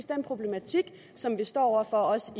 den problematik som vi står over for også